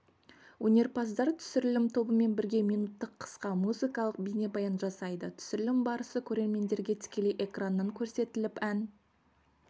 өнерпаздар түсірілім тобымен бірге минуттық қысқа музыкалық бейнебаян жасайды түсірілім барысы көрермендерге тікелей экраннан көрсетіліп ән